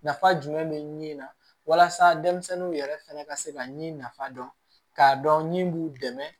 Nafa jumɛn bɛ min na walasa denmisɛnninw yɛrɛ fɛnɛ ka se ka ɲɛ nafa dɔn k'a dɔn min b'u dɛmɛ